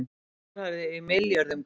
allar fjárhæðir í milljörðum króna